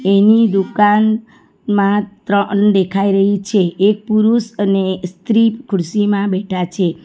એની દુકાન માં ત્રણ દેખાઈ રહી છે એક પુરુષ અને એ સ્ત્રી ખુરશીમાં બેઠા છે.